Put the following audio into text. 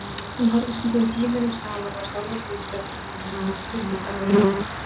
Hún horfði stundum tímunum saman á sjálfa sig í spegli, virtist alveg heilluð.